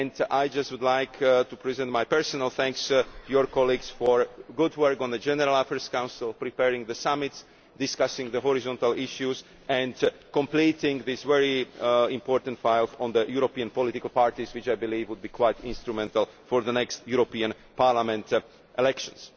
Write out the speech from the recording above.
I would like to give my personal thanks to your colleagues for their good work on the General Affairs Council, preparing the summits, discussing the horizontal issues and completing this very important file on the European political parties, which I believe will be quite instrumental for the next European Parliament elections.